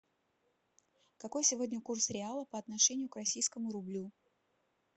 какой сегодня курс реала по отношению к российскому рублю